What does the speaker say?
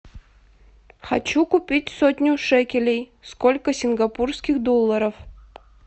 хочу купить сотню шекелей сколько сингапурских долларов